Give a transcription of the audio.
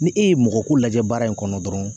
Ni e ye mɔgɔ ko lajɛ baara in kɔnɔ dɔrɔn